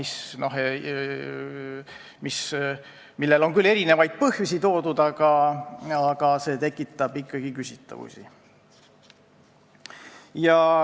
Selleks on küll toodud erinevaid põhjusi, aga see tekitab ikkagi küsitavusi.